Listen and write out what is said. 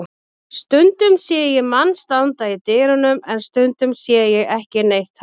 Stundum sé ég mann standa í dyrunum en stundum sé ég ekki neitt þarna.